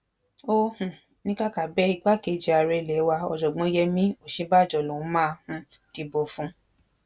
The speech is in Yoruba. ó um ní kàkà bẹẹ igbákejì ààrẹ ilé wa ọjọgbọn yemí òsínbàjò lòún máa um dìbò fún